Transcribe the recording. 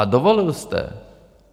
A dovolil jste.